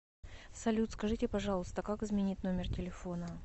салют скажите пожалуйста как изменить номер телефона